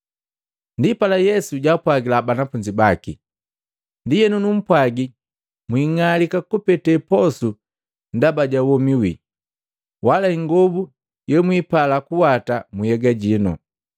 Ndipala Yesu jaapwajila banafunzi baki, “Ndienu numpwaji mwiing'alika kupete posu ndaba ja womi wii, wala ingobu yemwipala kuwata mu nhyega jino.